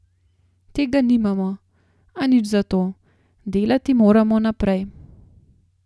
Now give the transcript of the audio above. Tega nimamo, a nič zato, delati moramo naprej.